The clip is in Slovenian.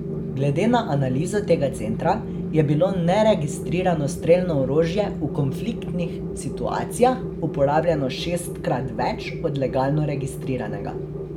Glede na analizo tega centra je bilo neregistrirano strelno orožje v konfliktnih situacijah uporabljano šestkrat več od legalno registriranega.